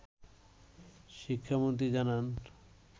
শিক্ষামন্ত্রী জানান